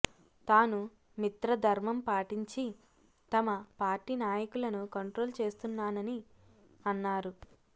తాను మిత్రధర్మం పాటించి తమ పార్టీ నాయకులను కంట్రోల్ చేస్తున్నానని అన్నారు